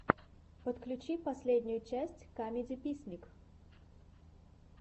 подключи последнюю часть камедиписник